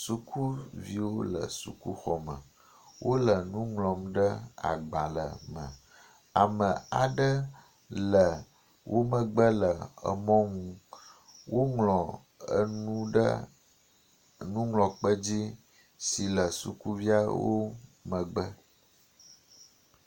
Sukuviwo le sukuxɔme. Wo le nu ŋlɔm ɖe agbale me. Ame aɖe le wo megbe le emɔ nu. Woŋlɔ enu ɖe nuŋlɔkpe dzi si le sukuviawo megbe.